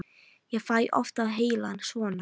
Ég fæ oft á heilann svona.